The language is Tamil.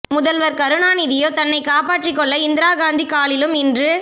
முதல்வர் கருணாநிதியோ தன்னைக் காப்பாற்றிக் கொள்ள இந்திரா காந்தி காலிலும் இன்று